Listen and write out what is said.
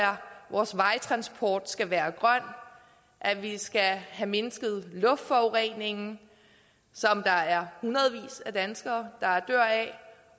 vores vejtransport skal være grøn at vi skal have mindsket luftforureningen som der er hundredvis af danskere der dør af